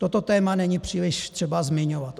Toto téma není příliš třeba zmiňovat.